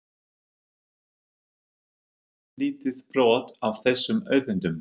Íslendingar hefðu aðeins nýtt lítið brot af þessum auðlindum.